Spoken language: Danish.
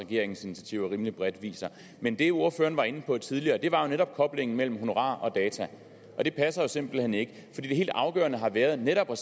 regeringens initiativer rimelig bredt viser men det ordføreren var inde på tidligere var netop koblingen mellem honorarer og data og det passer jo simpelt hen ikke det helt afgørende har været netop for